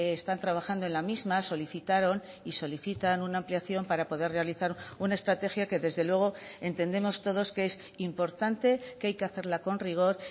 están trabajando en la misma solicitaron y solicitan una ampliación para poder realizar una estrategia que desde luego entendemos todos que es importante que hay que hacerla con rigor